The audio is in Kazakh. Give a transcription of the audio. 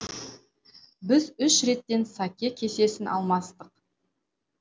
біз үш реттен сакэ кесесін алмастық